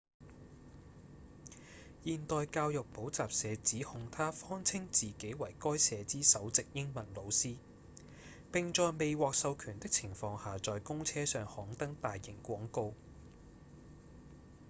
現代教育補習社指控他謊稱自己為該社之首席英文老師並在未獲授權的情況下在公車上刊登大型廣告